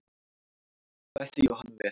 Bætti Jóhanna við.